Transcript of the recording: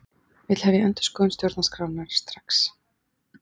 Vill hefja endurskoðun stjórnarskrárinnar strax